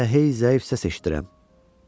Mən elə hey zəif səs eşidirəm.